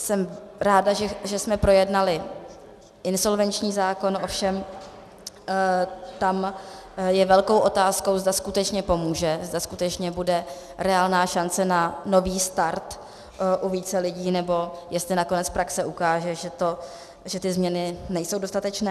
Jsem ráda, že jsme projednali insolvenční zákon, ovšem tam je velkou otázkou, zda skutečně pomůže, zda skutečně bude reálná šance na nový start u více lidí, nebo jestli nakonec praxe ukáže, že ty změny nejsou dostatečné.